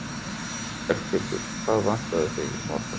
Berghildur: Hvað vantaði í morgun?